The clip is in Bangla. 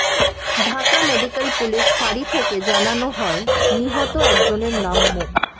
ঢাকা মেডিক্যাল পুলিশ ফাঁড়ি থেকে জানানো হয় নিহত একজনের নাম মো